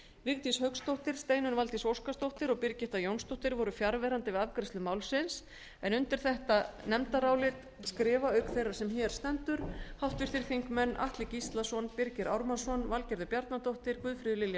vigdís hauksdóttir steinunn valdís óskarsdóttir og birgitta jónsdóttir voru fjarverandi við afgreiðslu málsins undir þetta nefndarálit skrifa auk þeirrar sem hér stendur háttvirtir þingmenn atli gíslason birgir ármannsson valgerður bjarnadóttir guðfríður lilja